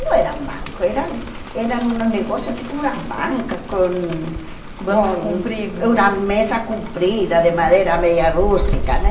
E não eram bancos, eram eram negócios assim como as bancas, com. Com bancos compridos... Uma mesa comprida de madeira meia rústica né.